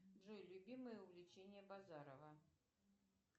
джой любимое увлечение базарова